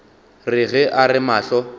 re ge a re mahlo